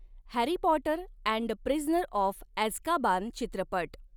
Harry Potter and the Prisoner of Azkaban चित्रपट